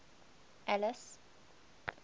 alice